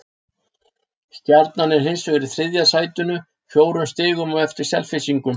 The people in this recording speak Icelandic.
Stjarnan er hins vegar í þriðja sætinu, fjórum stigum á eftir Selfyssingum.